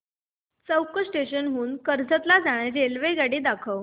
चौक station हून कर्जत ला जाणारी रेल्वेगाडी दाखव